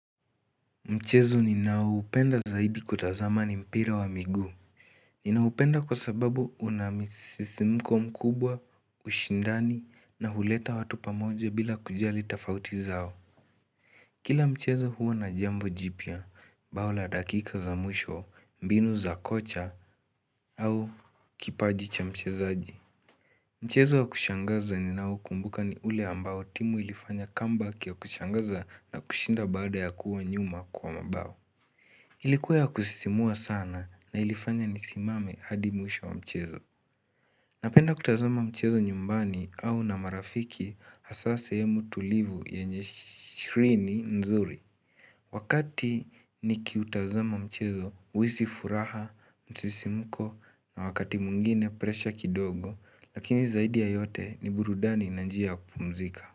Mchezo ninao upenda zaidi kutazama ni mpira wa miguu Ninaupenda kwa sababu unamisisimko mkubwa, ushindani, na huleta watu pamoja bila kujali tafauti zao Kila mchezo huwa na jambo jipya, bao la dakika za mwisho, mbinu za kocha, au kipaji cha mchezaji Mchezo wa kushangaza ninao kumbuka ni ule ambao timu ilifanya comeback ya kushangaza na kushinda baada ya kuwa nyuma kwa mabao Ilikuwa ya kusisimua sana na ilifanya nisimame hadi mwisho wa mchezo. Napenda kutazama mchezo nyumbani au na marafiki hasa sehemu tulivu yenye skrini nzuri. Wakati nikiutazama mchezo, huisi furaha, msisimko na wakati mwingine presha kidogo, lakini zaidi ya yote ni burudani na njia ya kupumzika.